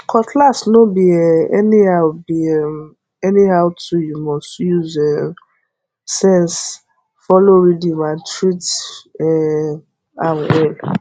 cutlass no be um anyhow be um anyhow toolyou must use um sense follow rhythm and treat um am well